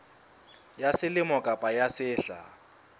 ya selemo kapa ya sehla